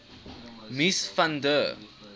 mies van der